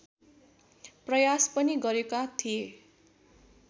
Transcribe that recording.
प्रयास पनि गरेका थिए